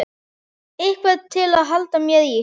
Eitthvað til að halda mér í.